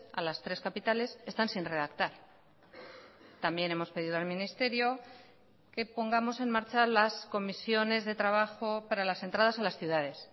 a las tres capitales están sin redactar también hemos pedido al ministerio que pongamos en marcha las comisiones de trabajo para las entradas a las ciudades